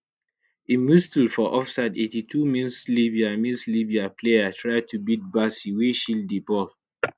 im whistle for offside 82 minslibya minslibya player try to beat bassey wey shield di ball